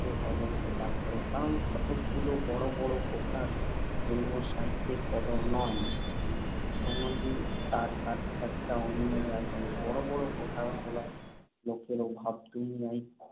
অযোগ্য পাত্র। কারণ, কতকগুলো বড় বড় কথার জন্য সাহিত্যের কদর নয়। সমাজে তার কার্যকারিতা অন্য জায়গায়। বড় বড় কথা বলার লোকের অভাব দুনিয়ায়